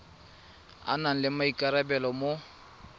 a nang le maikarabelo mo